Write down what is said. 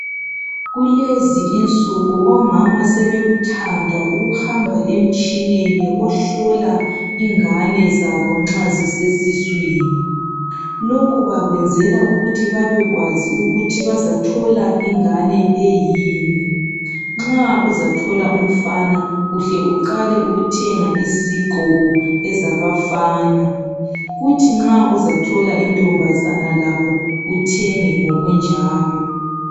kulezi insuku omama sebekuthanda ukuhamba emtshineni ohlola ingane zabo nxa zisesiswini lokhu bakwenzela ukuthi babe kwazi ukuthi bazathola ingane eyini nxa uzathola umfana uhle uqale ukuthenga izigqoko ezabafana kuthi nxa uzathola intombazana lakho uthenge ngokunjalo